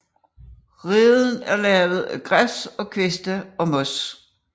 Reden er lavet af græs og kviste og mos